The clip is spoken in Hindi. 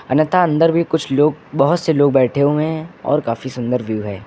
अन्यथा अंदर भी कुछ लोग बहुत से लोग बैठे हुए हैं और काफी सुंदर व्यू है।